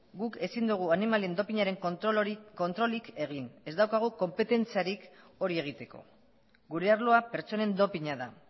guk ezin dugu animalien doping aren kontrolik egin ez daukagu konpetentziarik hori egiteko gure arloa pertsonen doping a da